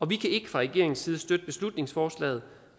vi kan fra regeringens side ikke støtte beslutningsforslaget